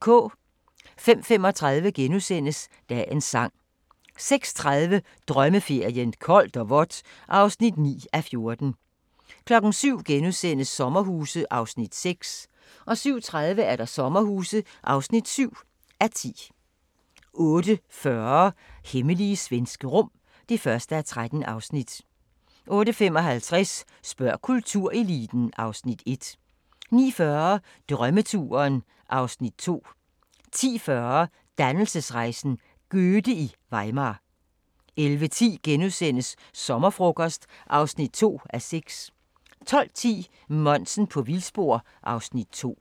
05:35: Dagens sang * 06:30: Drømmeferien: Koldt og vådt (9:14) 07:00: Sommerhuse (6:10)* 07:30: Sommerhuse (7:10) 08:40: Hemmelige svenske rum (1:13) 08:55: Spørg kultureliten (Afs. 1) 09:40: Drømmeturen (Afs. 2) 10:40: Dannelsesrejsen – Goethe i Weimar 11:10: Sommerfrokost (2:6)* 12:10: Monsen på vildspor (Afs. 2)